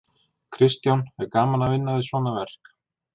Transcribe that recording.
Kristján: Er gaman að vinna við svona verk?